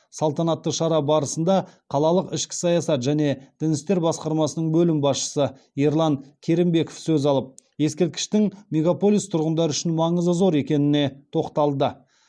салтанатты шара барысында қалалық ішкі саясат және дін істер басқармасының бөлім басшысы ерлан керімбеков сөз алып ескерткіштің мегаполис тұрғындары үшін маңызы зор екеніне тоқталды